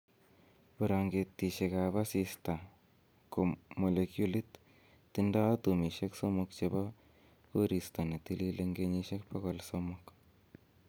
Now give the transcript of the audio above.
Brangetitab asista ko molekyulit tindo atomisiek somok chebo koristo ne tilil en kenyisiek bogol somok